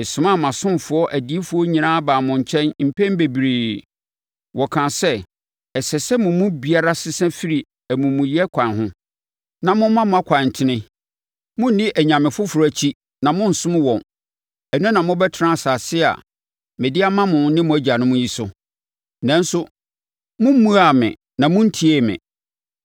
Mesomaa mʼasomfoɔ adiyifoɔ nyinaa baa mo nkyɛn mpɛn bebree. Wɔkaa sɛ, “Ɛsɛ sɛ mo mu biara sesa firi nʼamumuyɛ akwan ho, na moma mo akwan tene; monni anyame foforɔ akyi na monnsom wɔn. Ɛno na mobɛtena asase a mede ama mo ne mo agyanom yi so.” Nanso mommuaa me na monntiee me.